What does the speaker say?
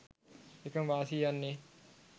එකම වාසිය යන්නේ